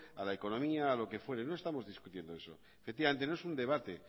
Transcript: a la economía a lo que fuere no estamos discutiendo eso efectivamente no es un debate